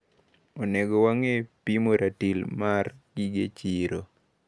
Onego wang`e pimo ratil mar gige chiro.